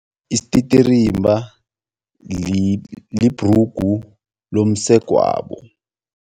Isititirimba libhrugu lomsegwabo.